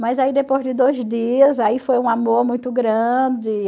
Mas aí depois de dois dias, aí foi um amor muito grande.